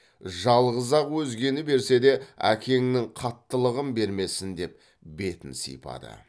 жалғыз ақ өзгені берсе де әкеңнің қаттылығын бермесін деп бетін сипады